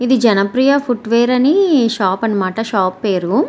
ఇది జనప్రియ ఫుట్వేర్ అనే షాప్ అనమాట షాప్ పేరు.